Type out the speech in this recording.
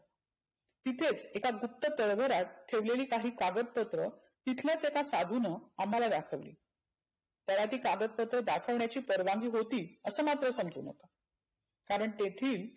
तिथेच एका फक्त तळघरात ठेवलेली काही कागदपत्र तिथल्याच एका साधुनं अम्हाला दाखवली. त्याला ते कागदपत्र दाखवण्याची परवानगी होती असं मात्र समजून येतंं. कारण तेथील